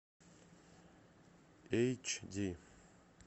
эйч ди